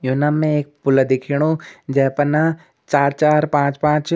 योना में एक पुला दिख्याणु जै पर ना चार-चार पांच-पांच --